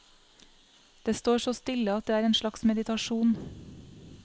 Det står så stille at det er en slags meditasjon.